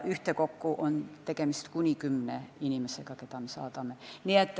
Ühtekokku on tegemist kuni kümne inimesega, keda me sinna saadame.